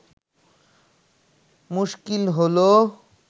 মুশকিল হল